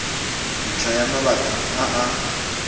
ntlha ya mabaka a a